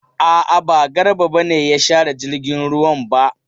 A'a, ba Garba ne ya share jirgin ruwan ba.